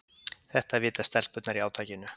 Þetta vita stelpurnar í átakinu